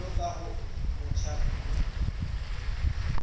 jwalo ka o motjha mme